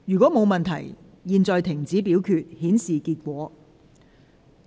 如果沒有問題，現在停止表決，顯示結果。